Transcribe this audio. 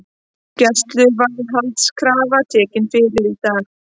Gæsluvarðhaldskrafa tekin fyrir í dag